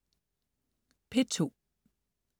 P2: